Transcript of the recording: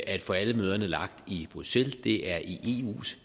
at få alle møderne lagt i bruxelles det er i eus